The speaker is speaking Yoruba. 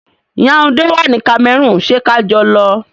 Yaunde wà ní Cameroon, ṣé kajọ lọ.